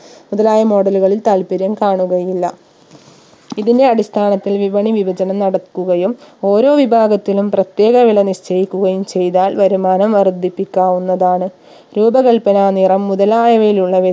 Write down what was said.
മുതലായ model ലുകളിൽ താൽപ്പര്യം കാണുകയില്ല ഇതിന്റെ അടിസ്ഥാനത്തിൽ വിപണി വിഭജനം നടക്കുകയും ഓരോ വിഭാഗത്തിലും പ്രത്യേക വില നിശ്ചയിക്കുകയും ചെയ്താൽ വരുമാനം വർധിപ്പിക്കാവുന്നതാണ് രൂപ കൽപന നിറം മുതലായവയിൽ ഉള്ള